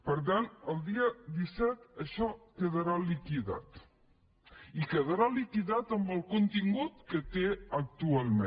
per tant el dia disset això quedarà liquidat i quedarà liquidat amb el contingut que té actualment